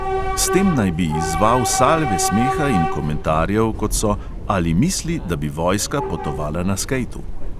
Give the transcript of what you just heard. S tem naj bi izzval salve smeha in komentarjev, kot so, ali misli, da bi vojska potovala na skejtu.